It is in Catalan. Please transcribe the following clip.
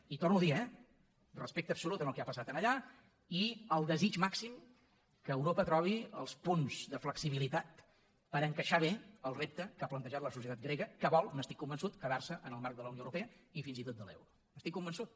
i ho torno a dir eh respecte absolut al que ha passat allà i el desig màxim que europa trobi els punts de flexibilitat per encaixar bé el repte que ha plantejat la societat grega que vol n’estic convençut quedar se en el marc de la unió europea i fins i tot de l’euro n’estic convençut